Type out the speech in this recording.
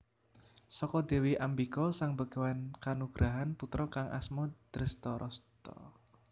Saka Dewi Ambika Sang Begawan kanugrahan putra kang asma Drestharasta